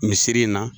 Misiri in na